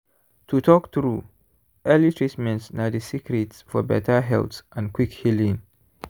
to talk true early treatment na the secret for better health and quick healing.